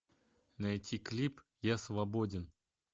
найти клип я свободен